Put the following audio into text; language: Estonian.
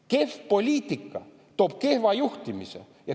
Kehv poliitika toob kehva juhtimise.